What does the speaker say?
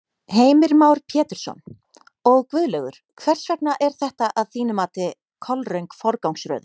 Heimir Már Pétursson: Og Guðlaugur, hvers vegna er þetta að þínu mati kolröng forgangsröðun?